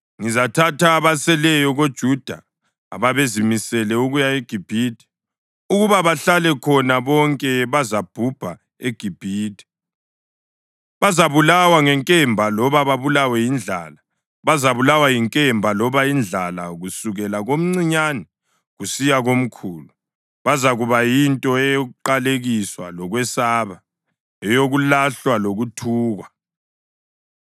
Ngizathatha abaseleyo koJuda ababezimisele ukuya eGibhithe; ukuba bahlale khona. Bonke bazabhubha eGibhithe; bazabulawa ngenkemba loba babulawe yindlala. Bazabulawa yinkemba loba indlala kusukela komncinyane kusiya komkhulu. Bazakuba yinto yokuqalekiswa lokwesaba, eyokulahlwa lokuthukwa.